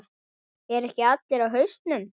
Eru ekki allir á hausnum?